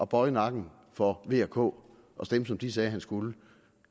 bøje nakken for vk og stemme som de sagde han skulle